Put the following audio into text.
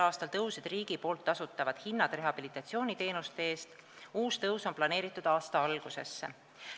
a tõusid rehabilitatsiooniteenuste hinnad, mille eest tasub riik, uus tõus on planeeritud aasta algusesse.